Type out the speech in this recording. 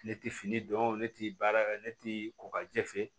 Ne tɛ fini dɔn ne tɛ baara kɛ ne tɛ kokajɛ fɛ